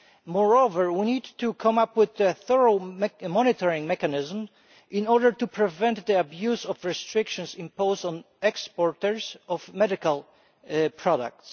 Moreover, we need to come up with a thorough monitoring mechanism in order to prevent the abuse of restrictions imposed on exporters of medical products.